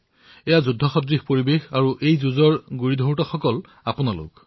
এয়া যুদ্ধসদৃশ স্থিতি আৰু আপোনালোকেই ইয়াৰ গুৰিবঠা চম্ভালি আছে